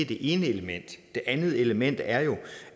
det ene element det andet element er jo